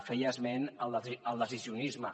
feia esment del decisionisme